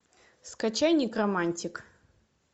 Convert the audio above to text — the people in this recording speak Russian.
скачай некромантик